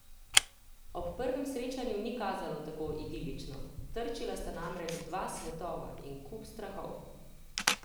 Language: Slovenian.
Ob prvem srečanju ni kazalo tako idilično, trčila sta namreč dva svetova in kup strahov.